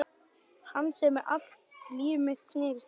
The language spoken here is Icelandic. Hans sem allt líf mitt snerist um.